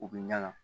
U bɛ ɲaga